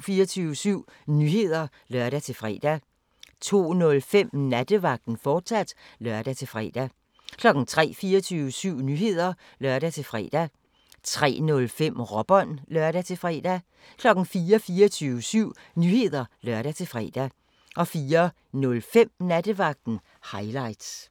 24syv Nyheder (lør-fre) 02:05: Nattevagten, fortsat (lør-fre) 03:00: 24syv Nyheder (lør-fre) 03:05: Råbånd (lør-fre) 04:00: 24syv Nyheder (lør-fre) 04:05: Nattevagten – highlights